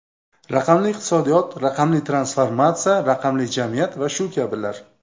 Raqamli iqtisodiyot, raqamli transformatsiya, raqamli jamiyat va shu kabilar.